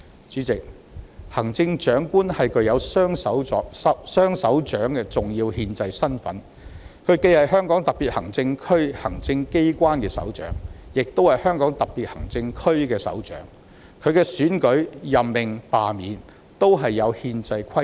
主席，行政長官具有"雙首長"的重要憲制身份，既是香港特別行政區行政機關的首長，亦是香港特別行政區的首長，其選舉、任命和罷免均有憲制規定。